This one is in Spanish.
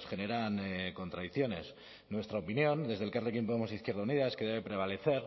generan contradicciones nuestra opinión desde elkarrekin podemos izquierda unida es que debe prevalecer